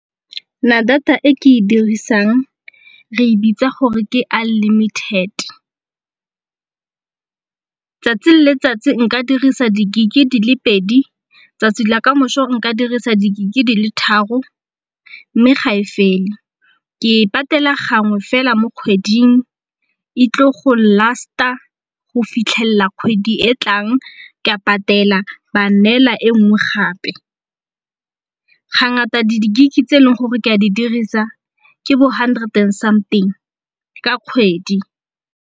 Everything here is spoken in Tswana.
Nna data e ke e dirisang re e bitsa gore ke unlimited, tsatsi le letsatsi nka dirisa di-Gig di le pedi tsatsi la kamoso nka dirisa di-Gig di le tharo mme ga e fele. Ke e patela gangwe fela mo kgweding e tle go last-a go fitlhelela kgwedi e tlang ka patela ba neela e nngwe gape. Ga ngata di-Gig tse e leng gore ke a di dirisa ke bo hundred and something ka kgwedi.